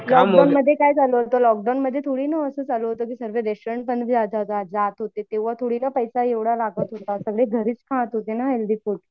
लॉकडाऊनमध्ये काय झालं होतं? लॉकडाऊनमध्ये थोडी नं असं चालू सर्वे रेस्टोरंट जात होते तेंव्हा थोडी नं पैसा एवढा लागत होता. सगळे घरीची खात होते ना हेल्थी फूड.